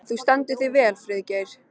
Þú stendur þig vel, Friðgeir!